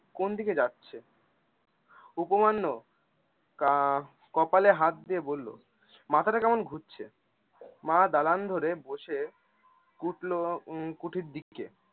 কোনদিকে যাচ্ছে? উপমান্য আহ কপালে হাত দিয়ে বললো মাথাটা কেমন ঘুরছে! মা দালান ঘরে বসে খুটলো উম খুঠির দিকে